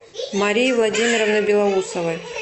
марии владимировны белоусовой